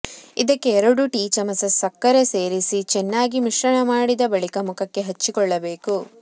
ಇದಕ್ಕೆ ಎರಡು ಟೀ ಚಮಚ ಸಕ್ಕರೆ ಸೇರಿಸಿ ಚೆನ್ನಾಗಿ ಮಿಶ್ರಣ ಮಾಡಿದ ಬಳಿಕ ಮುಖಕ್ಕೆ ಹಚ್ಚಿಕೊಳ್ಳಬೇಕು